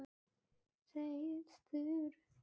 Þetta er mjög alvarleg staða.